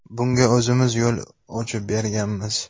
Bunga o‘zimiz yo‘l ochib berganmiz.